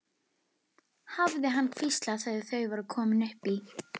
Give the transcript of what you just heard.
hafði hann hvíslað þegar þau voru komin upp í.